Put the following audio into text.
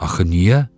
Axı niyə?